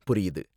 புரியுது.